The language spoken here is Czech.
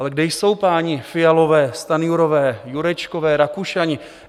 Ale kde jsou páni Fialové, Stanjurové, Jurečkové, Rakušani?